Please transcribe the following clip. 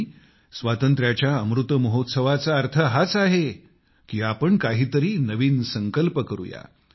आणि स्वातंत्र्याच्या अमृत महोत्सवाचा अर्थ हाच आहे की आपण काहीतरी नवीन संकल्प करूया